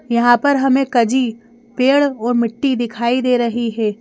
यहाँ पर हमें कजी पेड़ और मिट्टी दिखाई दे रही है।